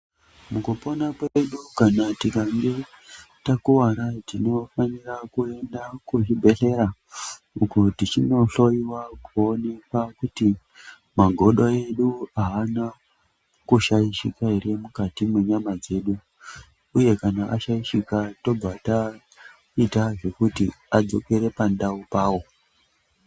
Kupona kwedu kana tikange takuvara tinofanira kuenda kuzvibhedhlera kuti tinohloyiwa kuonekwa kuti magodo edu haana kushaishika ere mukati mwenyama dzedu uye kana ashaishika tobva taita zvekuti adzokera pandau pawo.